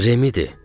Remidir.